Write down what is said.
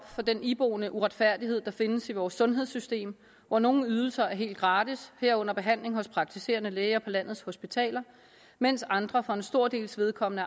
på den iboende uretfærdighed der findes i vores sundhedssystem hvor nogle ydelser er helt gratis herunder behandling hos praktiserende læge og på landets hospitaler mens andre for en stor dels vedkommende